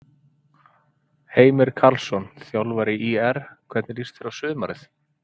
Heimir Karlsson, þjálfari ÍR Hvernig líst þér á sumarið?